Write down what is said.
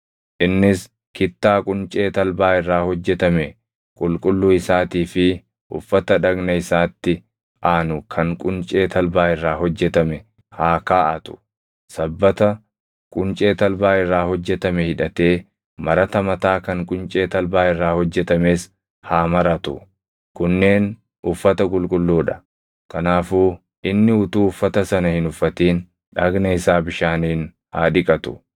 Innis kittaa quncee talbaa irraa hojjetame qulqulluu isaatii fi uffata dhagna isaatti aanu kan quncee talbaa irraa hojjetame haa kaaʼatu. Sabbata quncee talbaa irraa hojjetame hidhatee marata mataa kan quncee talbaa irraa hojjetames haa maratu; kunneen uffata qulqulluu dha. Kanaafuu inni utuu uffata sana hin uffatin dhagna isaa bishaaniin haa dhiqatu.